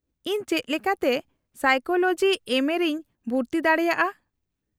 -ᱤᱧ ᱪᱮᱫ ᱞᱮᱠᱟᱛᱮ ᱥᱟᱭᱠᱳᱞᱳᱡᱤ ᱮᱢᱹᱮ ᱨᱮᱧ ᱵᱷᱩᱨᱛᱤ ᱫᱟᱲᱮᱭᱟᱜᱼᱟ ?